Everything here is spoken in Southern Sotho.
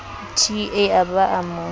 t a ba a mo